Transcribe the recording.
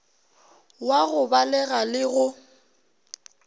wa go balega le go